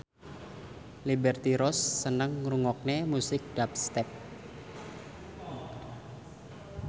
Liberty Ross seneng ngrungokne musik dubstep